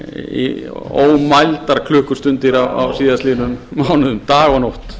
í ótalmargar klukkustundir dag og nótt á síðastliðnum mánuðum dag og nótt